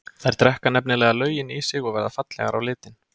Þær drekka nefnilega löginn í sig og verða fallegar á litinn.